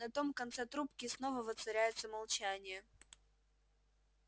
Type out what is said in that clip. на том конце трубки снова воцаряется молчание